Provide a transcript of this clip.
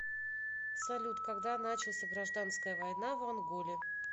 салют когда начался гражданская война в анголе